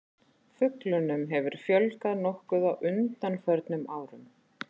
Fuglunum hefur fjölgað nokkuð á undanförnum árum.